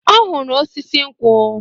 Ọ hụrụ osisi nkwụ.